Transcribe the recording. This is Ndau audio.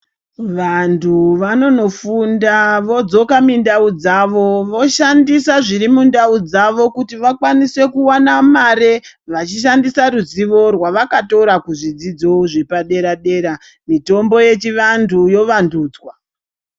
Vantu vonofunda vodzoka mindaudzawo voshandisa zviri mundaudzavo kuti vakwanise kuwana mare vachishandisa ruzivo rwavakatora kuzvidzidzo zvepadera dera mitombo yechiantu yavandudzwa.